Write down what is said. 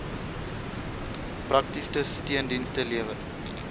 praktiese steundienste lewer